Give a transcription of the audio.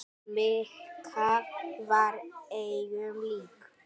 Mikka var engum lík.